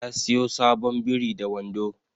Ya siyo sabon biri da wando